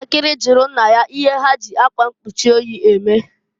Nwantakiri jụrụ nna ya ihe ha ji akwa nkpuchi oyi eme.